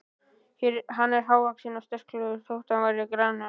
Hann var hávaxinn og sterklegur þótt hann væri grannur.